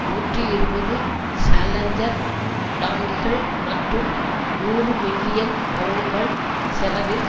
நூற்றி இருபது சேலஞ்சர் டாங்கிகள் மற்றும் நூறு மில்லியன் பவுன்கள் செலவில்